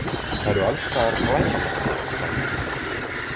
Það eru alstaðar glæpamenn, sagði hún.